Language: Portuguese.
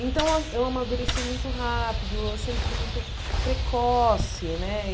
Então, eu eu amadureci muito rápido, eu sempre fui muito precoce, né?